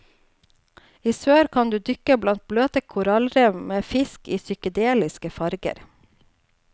I sør kan du dykke blant bløte korallrev med fisk i psykedeliske farger.